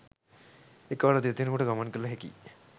එකවර දෙදෙනෙකුට ගමන් කළ හැකි